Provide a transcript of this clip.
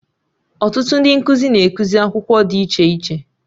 Ọtụtụ ndị nkụzi na ekuzi akwụkwọ dị iche iche